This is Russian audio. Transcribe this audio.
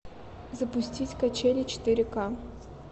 запустить качели четыре ка